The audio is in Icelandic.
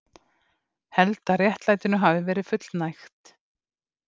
Held að réttlætinu hafi verið fullnægt